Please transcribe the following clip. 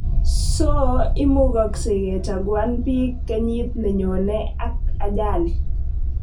So imukagsei kochaguan piik krnyit nenyone ak ajali